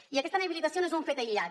i aquesta inhabilitació no és un fet aïllat